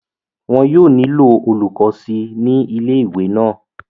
wọn yóò nílò olùkọ́ síi ní ilé ìwé náà